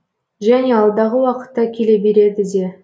және алдағы уақытта келе береді де